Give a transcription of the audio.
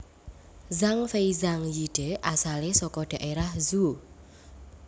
Zhang Fei Zhang Yide asalé saka daerah Zhuo